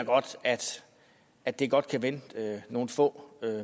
at det godt kan vente nogle få